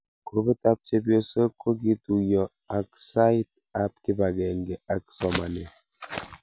Grupit ab chepyosok kokituyo ang sait ab kipangenge ak somanet